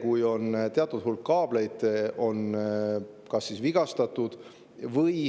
Kui on teatud hulk kaableid vigastatud või